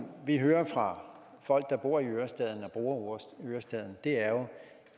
vi hører fra folk der bor i ørestaden og bruger ørestaden